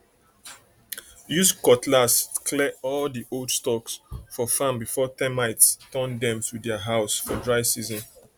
use cutlass clear all di old stalks for farm before termites turn dem to dia house for dry season